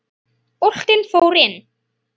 Boltinn fór inn.